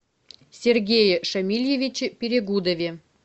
сергее шамильевиче перегудове